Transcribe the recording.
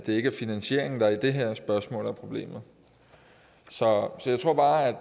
ikke er finansieringen der i det her spørgsmål er problemet så jeg tror bare at